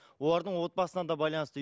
олардың отбасына да байланысты